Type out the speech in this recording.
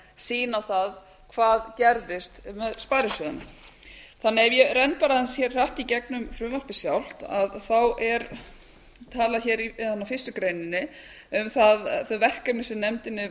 sýn á það hið gerðist með sparisjóðina ef ég renni bara aðeins hratt í gegnum frumvarpið sjálft er talað í fyrstu grein um þau verkefni sem nefndinni